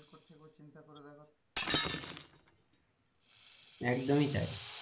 একদমই তাই।